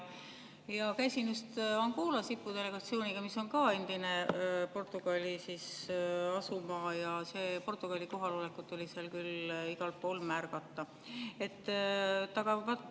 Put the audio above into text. Käisin just IPU delegatsiooniga Angolas, mis on ka endine Portugali asumaa, ja Portugali kohalolekut oli seal küll igal pool märgata.